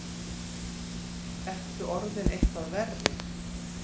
Ertu orðinn eitthvað verri?